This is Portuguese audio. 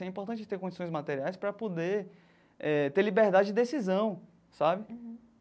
É importante ter condições materiais para poder eh ter liberdade de decisão, sabe?